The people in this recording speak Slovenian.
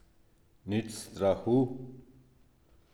Nič strahu.